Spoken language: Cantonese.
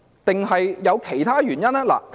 還是有其他原因？